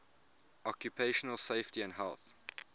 occupational safety and health